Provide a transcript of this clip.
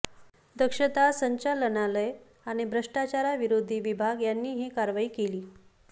दक्षता संचालनालय आणि भ्रष्टाचारविरोधी विभाग यांनी ही कारवाई केली